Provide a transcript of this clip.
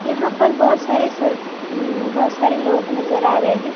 यहां पर बहुत सारे सर बहुत सारे लोग नजर आ रहे हैं।